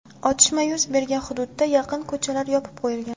Otishma yuz bergan hududga yaqin ko‘chalar yopib qo‘yilgan.